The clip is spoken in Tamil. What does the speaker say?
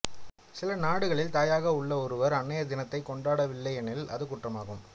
சில நாடுகளில் தாயாக உள்ள ஒருவர் அன்னையர் தினத்தைக் கொண்டாடவில்லை எனில் அது குற்றமாகும்